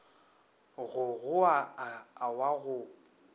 go goa a wa go